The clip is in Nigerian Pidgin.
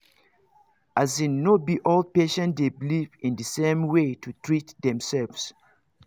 as in no be all patients dey beleive in the same way to treat themselves